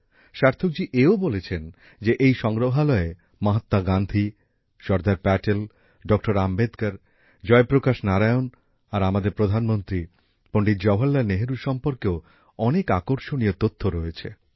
সার্থকজী এও বলেছেন যে এই সংগ্রহালয়ে মহাত্মা গান্ধী সর্দার প্যাটেল ডক্টর আম্বেদকর জয়প্রকাশ নারায়ণ আর আমাদের প্রধানমন্ত্রী পণ্ডিত জহরলাল নেহরু সম্পর্কেও অনেক আকর্ষণীয় তথ্য রয়েছে